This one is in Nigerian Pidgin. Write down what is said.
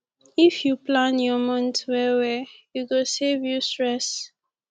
if yu plan yur month well well e go save you stress